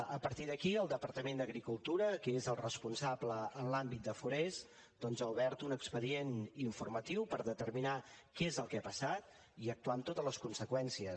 a partir d’aquí el departament d’agricultura que és el responsable en l’àmbit de forests doncs ha obert un expedient informatiu per determinar què és el que ha passat i actuar amb totes les conseqüències